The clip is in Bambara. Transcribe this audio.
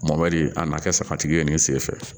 Mɔbali a nana kɛ sagatigi ye nin senfɛ